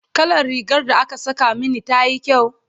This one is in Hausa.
kalla rigar da aka Saka Mani tayi kyau?